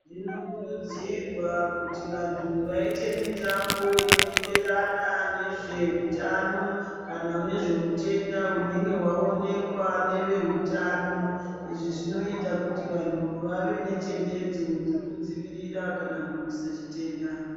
Zvinokurudzirwa kuti vantu vaite mitambo inoenderana nezveutano kana nezveutenda hunenge hwaonekwa ngeve hutano izvi zvinoita kuti vanhu vave nenjanjedzo yekudzivirira kana kurwisa chitenda.